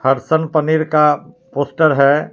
हरसल पनीर का पोस्टर है।